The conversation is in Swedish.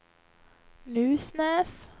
Nusnäs